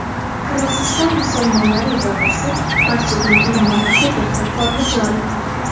Qirg‘iziston musulmonlari idorasi barcha din ulamolariga bir xil forma joriy qildi.